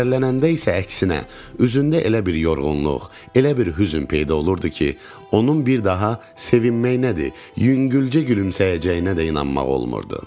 Kədərlənəndə isə əksinə, üzündə elə bir yorğunluq, elə bir hüzn peyda olurdu ki, onun bir daha sevinməyi nədir, yüngülcə gülümsəyəcəyinə də inanmaq olmurdu.